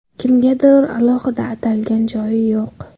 Kimgadir alohida atalgan joyi yo‘q.